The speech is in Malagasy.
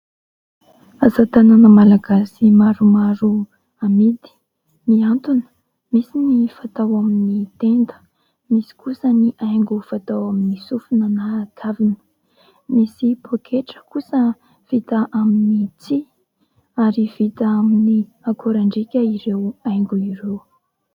Asa tanana malagasy maromaro amidy, mihantona, misy ny fatao amin'ny tenda, misy kosa ny haingo fatao amin'ny sofina na kavina. Misy poketra kosa vita amin'ny tsihy ary vita amin'ny akorandriaka ireo haingony ireo.